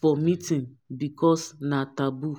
for meetin because na taboo